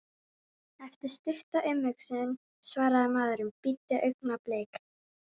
Eftir stutta umhugsun svaraði maðurinn: Bíddu augnablik.